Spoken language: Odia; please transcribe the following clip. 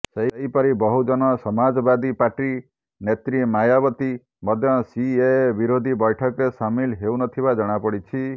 ସେହିପରି ବହୁଜନ ସମାଜବାଦୀ ପାର୍ଟି ନେତ୍ରୀ ମାୟାବତୀ ମଧ୍ୟ ସିଏଏ ବିରୋଧୀ ବୈଠକରେ ସାମିଲ ହେଉନଥିବା ଜଣାପଡ଼ିଛି